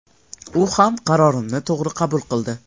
U ham qarorimni to‘g‘ri qabul qildi.